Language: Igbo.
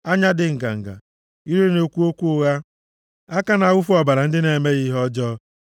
Anya dị nganga, ire na-ekwu okwu ụgha, aka na-awụfu ọbara ndị na-emeghị ihe ọjọọ.